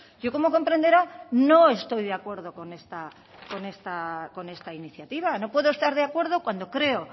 yo como comprenderá no estoy de acuerdo con esta iniciativa no puedo estar de acuerdo cuando creo